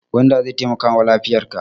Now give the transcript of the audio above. Gwanda zai taimakawa lafiyarka.